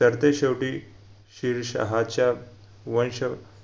तर ते शेवटी शिरशाहच्या वंश